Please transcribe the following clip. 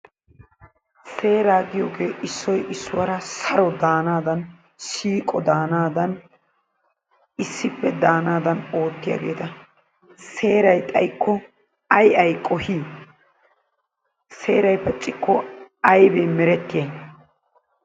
Seera giyooge issoy issuwara saro danadani siiqo dandani issippe danadani oottiyagetta. Seeray xayikko ay ay qohi? Seeray pacikko aybee merettiyay?